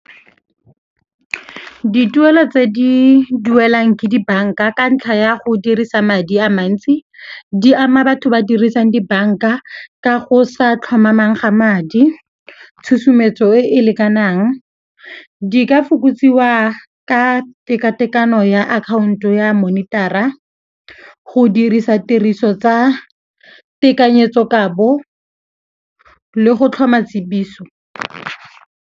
Dituelo tse di duelwang ke dibanka ka ntlha ya go dirisa madi a mantsi di ama batho ba ba dirisang dibanka ka go sa tlhomamang ga madi, tshusumetso e e lekanang. Di ka fokotsiwa ka tekatekano ya akhaonto ya monitara, go dirisa tiriso tsa tekanyetsokabo le go tlhoma tsiboso.